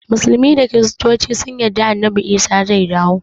Musulmai da kristoci sun yarda annabi isa zai dawo